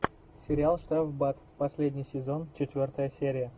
сериал штрафбат последний сезон четвертая серия